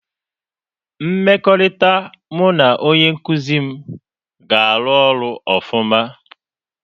Mmekọrịta mụ na onye nkuzi m ga-arụ ọrụ ọfụma.